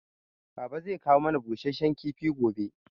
Baba zai kawo mana busasshen kifi gobe